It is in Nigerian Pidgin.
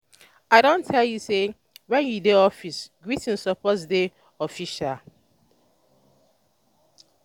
i don tell you sey wen you dey office greeting suppose dey official.